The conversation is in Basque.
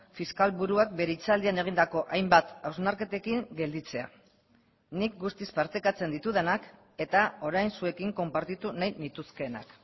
fiskal buruak bere hitzaldian egindako hainbat hausnarketekin gelditzea nik guztiz partekatzen ditudanak eta orain zuekin konpartitu nahi nituzkeenak